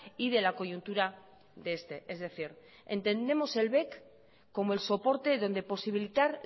y de la coyuntura de este es decir entendemos el bec como el soporte donde posibilitar